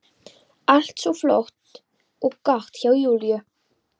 Allt svo flott og gott hjá Júlíu.